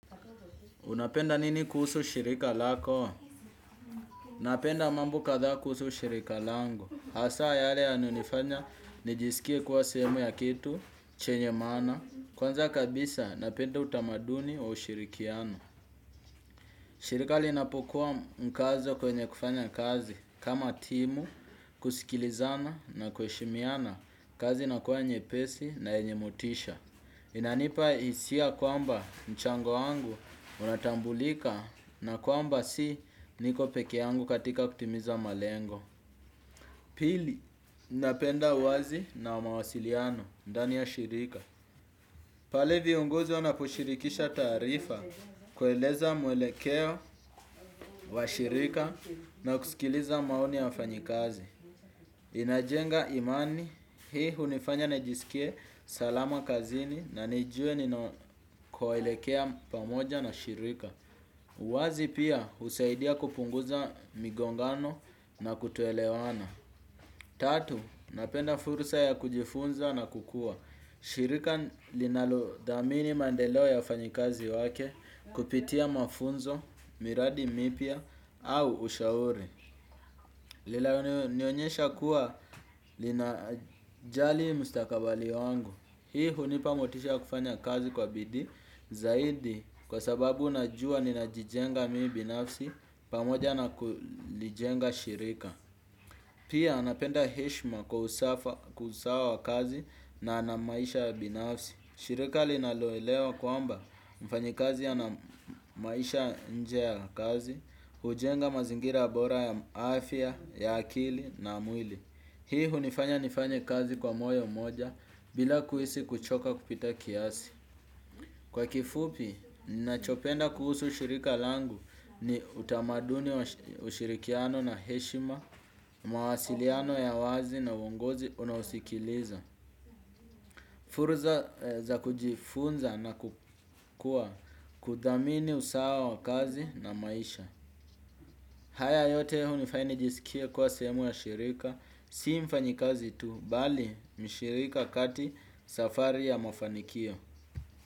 Unapenda nini kuhusu shirika lako? Napenda mambo kadhaa kuhusu shirika langu. Hasa yale yanayonifanya nijisikie kuwa sehemu ya kitu, chenye maana. Kwanza kabisa napenda utamaduni wa ushirikiano. Shirika linapokuwa mkazo kwenye kufanya kazi kama timu, kusikilizana na kuheshimiana kazi inakuwa nyepesi na yenye motisha. Inanipa hisia kwamba mchango wangu unatambulika na kwamba si niko peke yangu katika kutimiza malengo. Pili, napenda wazi na mawasiliano, ndani ya shirika. Pale viongozi wanaposhirikisha taarifa kueleza mwelekeo wa shirika na kusikiliza maoni ya wafanyikazi. Najenga imani hii hunifanya nijiskie salama kazini na nijue ninakoelekea pamoja na shirika uwazi pia husaidia kupunguza migongano na kutoelewana. Tatu, napenda fursa ya kujifunza na kukua. Shirika linalodhamini maendeleo ya wafanyikazi wake kupitia mafunzo, miradi mipya au ushauri linalonionyesha kuwa linajali mustakabali wangu. Hii hunipa motisha wa kufanya kazi kwa bidii. Zaidi kwa sababu najua ninajijenga mimi binafsi pamoja na kulijenga shirika. Pia napenda heshima kwa usawa wa kazi na maisha ya binafsi. Shirika linaloelewa kwamba mfanyikazi anamaisha nje ya kazi hujenga mazingira bora ya afya ya akili na mwili. Hii hunifanya nifanye kazi kwa moyo moja bila kuhisi kuchoka kupita kiasi. Kwa kifupi, ninachopenda kuhusu shirika langu ni utamaduni ushirikiano na heshima, mawasiliano ya wazi na uongozi unaosikiliza. Furza za kujifunza na kukua kuthamini usawa wa kazi na maisha. Haya yote hunifanya nijisikie kuwa sehemu ya shirika, si mfanyikazi tu, bali mshirika kati safari ya mafanikio.